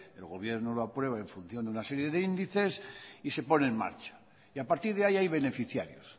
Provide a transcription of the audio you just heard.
el gobierno lo aprueba en función de una serie de índices y se pone en marcha y a partir de ahí hay beneficiarios